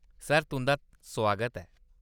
Sir, तुंʼदा सुआगत ऐ।